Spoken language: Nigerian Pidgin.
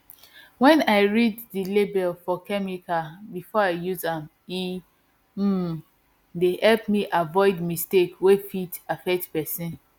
wen i read the label for chemical before i use am e um dey help me avoid mistake wey fit affect person